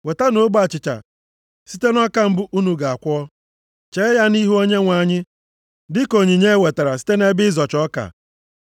Wetanụ ogbe achịcha site nʼọka mbụ unu ga-akwọ, chee ya nʼihu Onyenwe anyị dịka onyinye e wetara site nʼebe ịzọcha ọka.